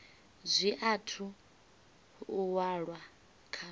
zwi athu u walwa kha